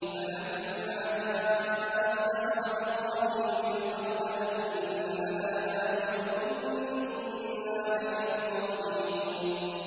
فَلَمَّا جَاءَ السَّحَرَةُ قَالُوا لِفِرْعَوْنَ أَئِنَّ لَنَا لَأَجْرًا إِن كُنَّا نَحْنُ الْغَالِبِينَ